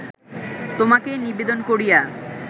তোমাকে নিবেদন করিয়া